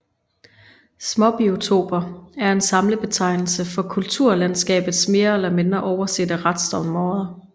Småbiotoper er en samlebetegnelse for kulturlandskabets mere eller mindre oversete restområder